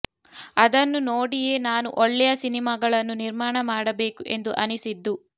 ಅದನ್ನು ನೋಡಿಯೇ ನಾನೂ ಒಳ್ಳೆಯ ಸಿನಿಮಾಗಳನ್ನು ನಿರ್ಮಾಣ ಮಾಡಬೇಕು ಎಂದು ಅನಿಸಿದ್ದು